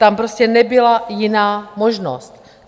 Tam prostě nebyla jiná možnost.